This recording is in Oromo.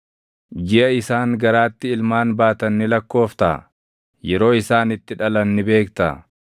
Jiʼa isaan garaatti ilmaan baatan ni lakkooftaa? Yeroo isaan itti dhalan ni beektaa?